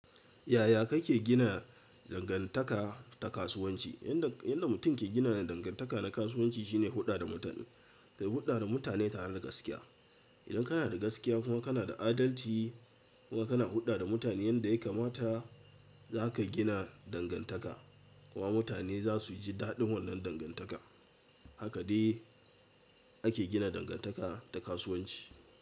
Yaya kake gina dangantaka ta kasuwanci? Yanda, yanda mutum ke gina dangantaka na kasuwanci shine huɗɗa da mutane. Kai huɗɗa da mutane tareda gaskiya. Idan kana da gaskiya kuma kana da adalci kuma kana huɗɗa da mutane yanda ya kamata, za ka gina dangantaka. Kuma mutane za su ji daɗin wannan dangantaka. Haka de ake gina dangantaka ta kasuwanci.